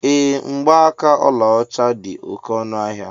Ee, Mgbaaka ọlaọcha dị oké ọnụ ahịa